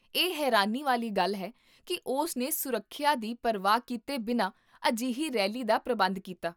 ਇਹ ਹੈਰਾਨੀ ਵਾਲੀ ਗੱਲ ਹੈ ਕੀ ਉਸ ਨੇ ਸੁਰੱਖਿਆ ਦੀ ਪਰਵਾਹ ਕੀਤੇ ਬਿਨਾਂ ਅਜਿਹੀ ਰੈਲੀ ਦਾ ਪ੍ਰਬੰਧ ਕੀਤਾ